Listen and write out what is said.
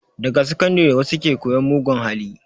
Daga sakandare wasu ke koyan mugun hali